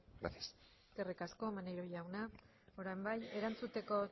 gracias eskerrik asko maneiro jauna orain bai erantzuteko